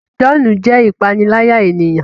John jé ìpaniláyà ènìyàn